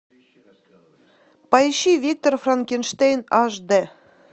поищи виктор франкенштейн аш дэ